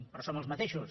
però som els mateixos